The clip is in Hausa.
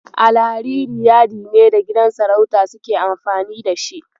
Alhariri yadi ne da gidan sarauta suke amfani da shi.